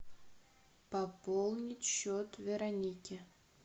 пополнить счет вероники